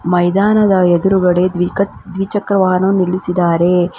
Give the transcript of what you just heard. ಮೈದಾನದ ಎದುರುಗಡೆ ದ್ವಿಕಾ ದ್ವಿಚಕ್ರ ವಾಹನ ನಿಲ್ಲಿಸಿದ್ದಾರೆ.